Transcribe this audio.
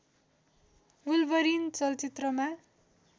wolverine चलचित्रमा